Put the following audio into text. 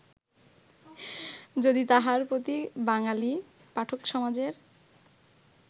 যদি তাঁহার প্রতি বাঙ্গালী পাঠকসমাজের